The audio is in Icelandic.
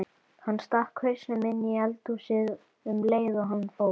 Hann stakk hausnum inní eldhúsið um leið og hann fór.